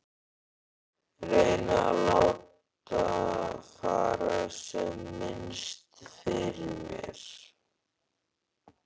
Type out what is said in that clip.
Reyni að láta fara sem minnst fyrir mér.